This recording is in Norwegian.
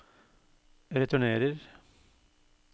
returnerer